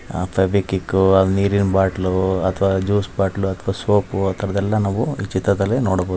ಆತ ಬಿಕಿಕೊ ನೀರಿನ್ ಬಾಟ್ಲು ಅಥವಾ ಜ್ಯೂಸ ಬಾಟಲ ಅಥವಾ ಸೋಪ್ ಉ ಆಥರದೆಲ್ಲಾ ನಾವು ಈ ಚಿತ್ರದಲ್ಲಿ ನೋಡಬಹುದ್.